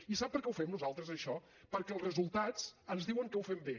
i sap per què ho fem nosaltres això perquè els resultats ens diuen que ho fem bé